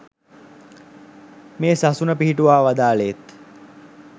මේ සසුන පිහිටුවා වදාළේත්